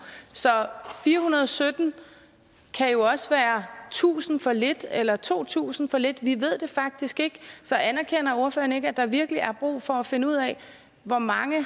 så fire hundrede og sytten kan jo også være tusind for lidt eller to tusind for lidt vi ved det faktisk ikke så anerkender ordføreren ikke at der virkelig er brug for at finde ud af hvor mange